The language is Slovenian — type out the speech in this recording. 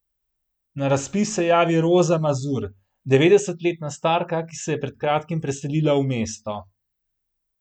Na razpis se javi Roza Mazur, devetdesetletna starka, ki se je pred kratkim priselila v mesto.